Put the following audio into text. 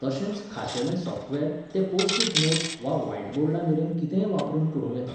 तशेंच खाशेलें सॉफ्टवॅर तें पोस्ट इट नोट्स वा व्हायटबोर्डमेरेन कितेंय वापरून करूं येता.